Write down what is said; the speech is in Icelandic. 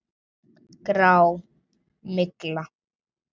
Grá. mygla!